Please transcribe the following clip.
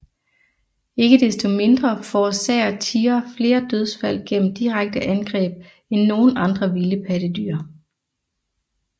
Ikke desto mindre forårsager tigre flere dødsfald gennem direkte angreb end nogen andre vilde pattedyr